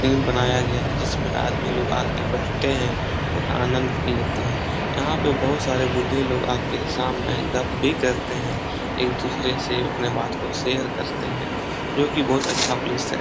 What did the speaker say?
बनाया गया है जिसमें आदमी लोग आके बैठते हैं और आनंद लेते है यहाँ पे बहुत सारे बुद्धे लोग आके शाम में गप भी करते हैं एक दूसरे से अपने बात को शेयर करते हैं जोकि बहुत अच्छा प्लेस है।